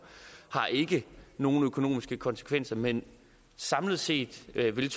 har ikke nogen økonomiske konsekvenser men samlet set vil